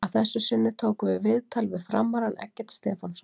Að þessu sinni tókum við viðtal við FRAM-arann Eggert Stefánsson.